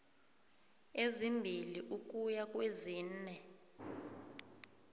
ezimbili ukuya kwezine